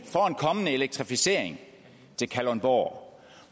kommende elektrificering til kalundborg